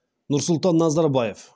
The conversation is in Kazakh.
нұрсұлтан назарбаев